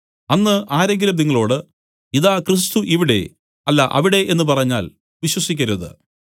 അന്ന് ആരെങ്കിലും നിങ്ങളോടു ഇതാ ക്രിസ്തു ഇവിടെ അല്ല അവിടെ എന്നു പറഞ്ഞാൽ വിശ്വസിക്കരുത്